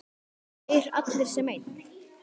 Þeir allir sem einn?